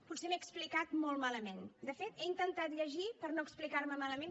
potser m’he explicat molt malament de fet he intentat llegir per no explicar me malament